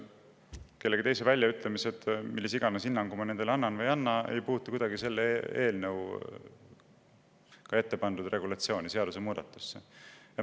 See, millise hinnangu ma kellegi teise väljaütlemistele annan või ei anna, ei puuduta kuidagi selle eelnõu regulatsiooni, selle seadusemuudatuse.